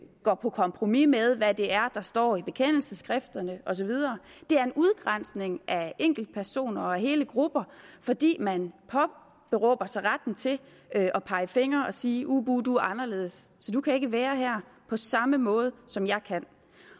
går på kompromis med hvad det er der står i bekendelsesskrifterne og så videre det er udgrænsning af enkeltpersoner og hele grupper fordi man påberåber sig retten til at pege fingre og sige uh buh du er anderledes så du kan ikke være her på samme måde som jeg kan